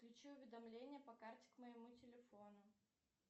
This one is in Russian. включи уведомления по карте к моему телефону